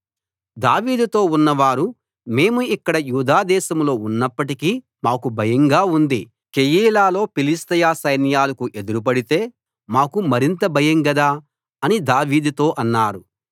దావీదుతో ఉన్నవారు మేము ఇక్కడ యూదా దేశంలో ఉన్నప్పటికీ మాకు భయంగా ఉంది కెయీలాలో ఫిలిష్తీయ సైన్యాలకు ఎదురుపడితే మాకు మరింత భయం గదా అని దావీదుతో అన్నారు